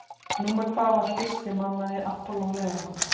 Númer hvað var fyrsti mannaði Apollo leiðangurinn?